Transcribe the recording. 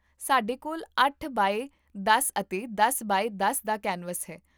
ਸਾਡੇ ਕੋਲ ਅੱਠ ਬਾਏ ਦਸ ਅਤੇ ਦਸ ਬਾਏ ਦਸ ਦਾ ਕੈਨਵਸ ਹੈ